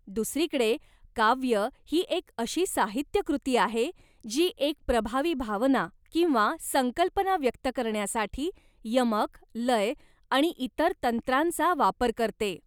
दुसरीकडे, काव्य ही एक अशी साहित्यकृती आहे, जी एक प्रभावी भावना किंवा संकल्पना व्यक्त करण्यासाठी यमक, लय आणि इतर तंत्रांचा वापर करते.